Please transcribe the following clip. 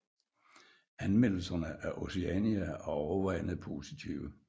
Anmeldelserne af Oceania er overvejende positive